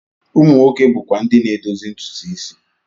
Ụmụ nwoke bụkwa ndị na-edozi ntutu isi.